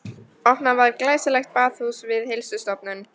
Opnað var glæsilegt baðhús við Heilsustofnun